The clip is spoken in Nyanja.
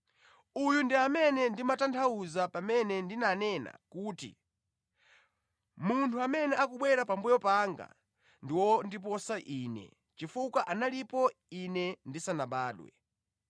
Uyu ndi amene ndimatanthauza pamene ndinanena kuti, ‘Munthu amene akubwera pambuyo panga ndi wondiposa ine chifukwa analipo ine ndisanabadwe.’